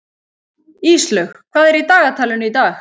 Íslaug, hvað er í dagatalinu í dag?